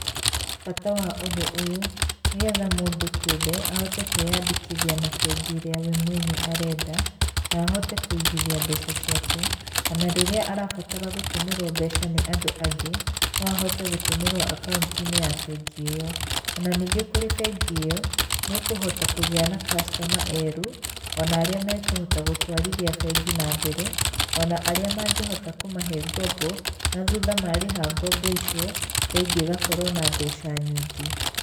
Bata wa ũndũ ũyũ, nĩ getha mũndũ kĩũmbe ahote kwĩyandĩkithia na bengi ĩrĩa we mwenye arenda, na ahote kũigithia mbeca ciake, ona rĩrĩa arabatara gũtũmĩrwo mbeca nĩ andũ angĩ no ahote gũtũmĩrwo akaunti-inĩ ya bengi ĩyo. Ona ningĩ kũrĩ bengi ĩyo, nĩ kũhota kũgĩa na customer erũ, ona arĩa mekũhota gũtwarithia bengi na mbere, ona arĩa mangĩhota kũmahe ngombo, na thutha marĩha ngombo icio, bengi ĩgakorwo na mbeca nyingĩ.